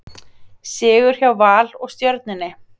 Sigur hjá Val og Stjörnunni